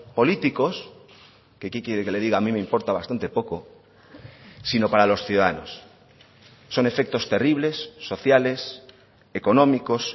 políticos que qué quiere que le diga a mí me importa bastante poco sino para los ciudadanos son efectos terribles sociales económicos